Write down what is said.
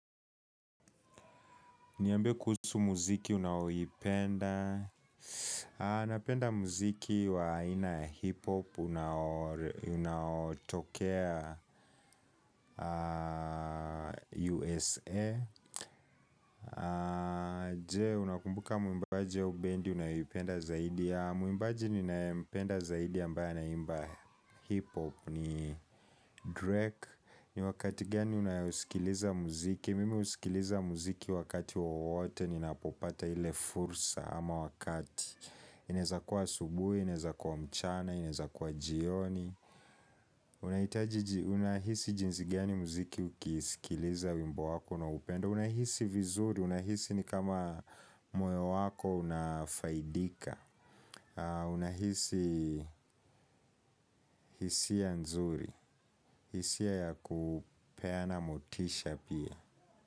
Niambie kuhusu muziki unaowipenda. Napenda muziki wa aina ya hip hop. Unaotokea USA. Je? Unakumbuka muimbaji au bendi unayoipenda zaidi? Muimbaji niyompenda zaidi ambaye anaimba hip hop ni Drake. Ni wakati gani unayoisikiliza muziki? Mimi usikiliza muziki wakati wowote. Ninapopata ile fursa ama wakati inaezakua asubuhi, inaezakua mchana, inaezakua jioni. Unahisi jinsi gani muziki ukihisikiliza wimbo wako na upendo? Unahisi vizuri, unahisi ni kama moyo wako unafaidika. Unahisi hisia nzuri, hisia ya kupeana motisha pia.